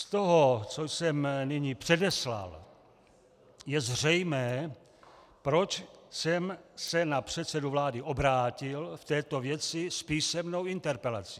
Z toho, co jsem nyní předeslal, je zřejmé, proč jsem se na předsedu vlády obrátil v této věci s písemnou interpelací.